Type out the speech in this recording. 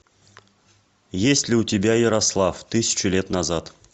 есть ли у тебя ярослав тысячу лет назад